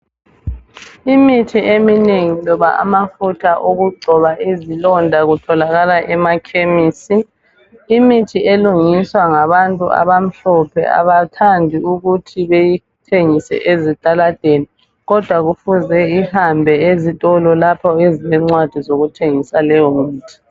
Imithi eminengi loba amafutha okugcoba izilonda kutholakala emakhemisi imithi elungiswa ngabantu abamhlophe abathandi ukuthi beyithengise ezitaladeni kodwa kufuze ihambe ezitolo lapho ezilencwadi zokuthengisa leyo mithi.